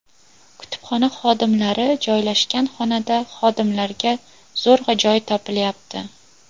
Kutubxona xodimlari joylashgan xonada xodimlarga zo‘rg‘a joy topilyapti.